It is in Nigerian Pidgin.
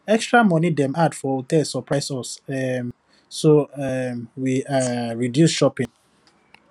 extra money dem add for hotel surprise us um so um we um reduce shopping